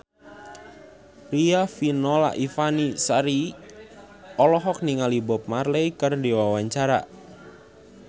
Riafinola Ifani Sari olohok ningali Bob Marley keur diwawancara